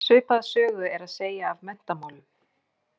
Svipaða sögu er að segja af menntamálum.